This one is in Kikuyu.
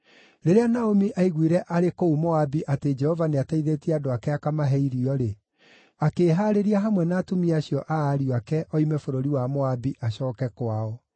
Rĩrĩa Naomi aiguire arĩ kũu Moabi atĩ Jehova nĩateithĩtie andũ ake akamahe irio-rĩ, akĩĩhaarĩria hamwe na atumia acio a ariũ ake oime bũrũri wa Moabi acooke kwao.